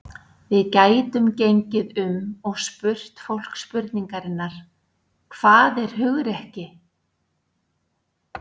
Við gætum gengið um og spurt fólk spurningarinnar: Hvað er hugrekki?